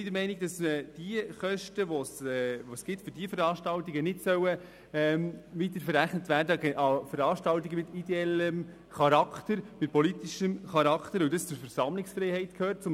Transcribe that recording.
Wir sind der Meinung, dass Veranstaltungen mit ideellem und politischem Charakter in einer Demokratie zum Recht auf Versammlungsfreiheit gehören.